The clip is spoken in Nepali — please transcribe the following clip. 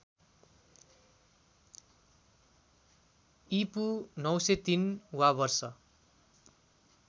ईपू ९०३ वा वर्ष